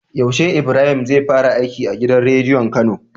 Yaushe Ibrahim zai fara aiki a gidan rediyon kano?